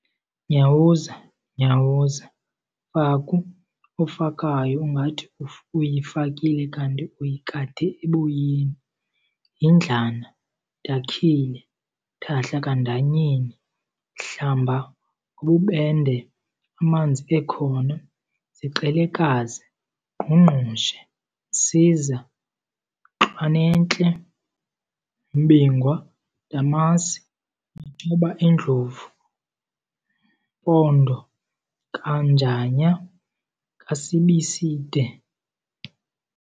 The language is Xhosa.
Nyawuza- Nyawuza, Faku ofakayo ungathi uyifakile kanti uyikande eboyeni, Yindlana, Dakhile, Thahla kaNdanyeni, Hlamba ngobubende amanzi ekhona, Ziqelekazi, Ngqungqushe, Msiza, Ntlwan'entle, Mbingwa, Ndamase, Matshoba endlovu, Mpondo kaNjanya kaSibiside.